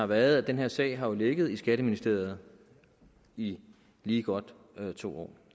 været at den her sag har ligget i skatteministeriet i lige godt to år